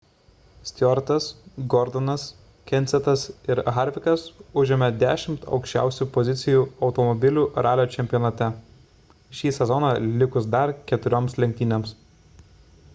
stewartas gordonas kensethas ir harvickas užėmė dešimt aukščiausių pozicijų automobilių ralio čempionate šį sezoną likus dar keturioms lenktynėms